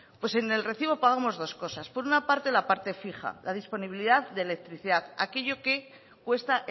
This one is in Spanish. pues en el recibo pagamos dos cosas por una parte la parte fija la disponibilidad de electricidad aquello que cuesta